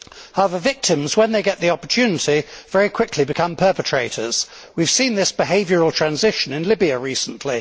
However, victims, when they get the opportunity, very quickly become perpetrators. We have seen this behavioural transition in Libya recently.